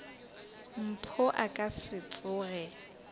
mpho a ka se tsoge